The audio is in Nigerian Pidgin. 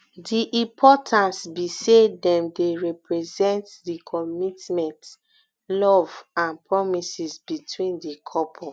di importance be say dem dey represent di commitment love and promises between di couple